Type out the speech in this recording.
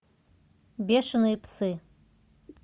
бешеные псы